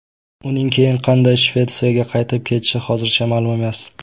Uning keyin qanday Shvetsiyaga qaytib ketishi hozircha ma’lum emas.